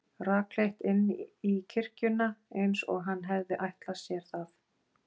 Rakleitt inn í kirkjuna, eins og hann hefði ætlað sér það.